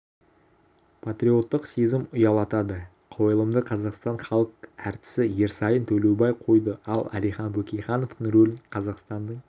патриоттық сезім ұялатады қойылымды қазақстанның халық әртісі ерсайын төлеубай қойды ал әлихан бөкейхановтың рөлін қазақстанның